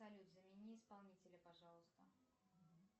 салют замени исполнителя пожалуйста